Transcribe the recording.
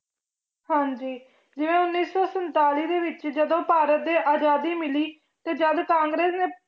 ਹਾਂਜੀ ਜਿਵੇਂ ਉੱਨੀ ਸੌ ਸੰਤਾਲੀ ਦੇ ਵਿੱਚ ਜਦੋਂ ਭਾਰਤ ਦੇ ਆਜ਼ਾਦੀ ਮਿਲੀ ਤੇ ਜਦ ਕਾਂਗਰਸ ਨੇ